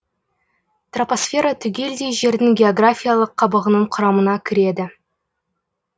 тропосфера түгелдей жердің географиялық қабығының құрамына кіреді